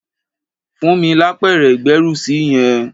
Fún mi lápẹ̀rẹ̀ ìgbẹ́rùsí yẹn!